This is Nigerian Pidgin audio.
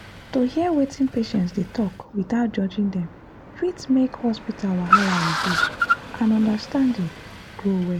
to hear wetin patients dey talk without judging dem fit make hospital wahala reduce and understanding grow well.